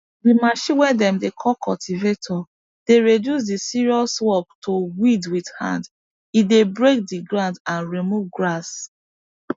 the machine way dem dey call cultivator dey reduce the serious work to weed with hand e dey break the ground and remove grass